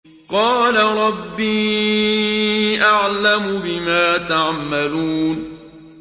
قَالَ رَبِّي أَعْلَمُ بِمَا تَعْمَلُونَ